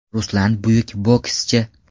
Ruslan buyuk bokschi!